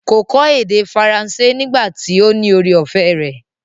Kò kọ́ èdè faransé nígbà tí ó ní ore-ọ̀fẹ́ rẹ̀.